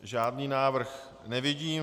Žádný návrh nevidím.